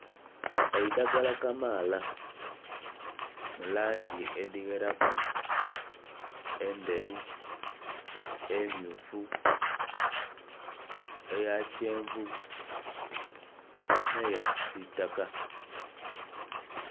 Eidagala kamaala mu langi edhigheraku, endheru, emmyufu eya kyenvu nhe eya kisitaka.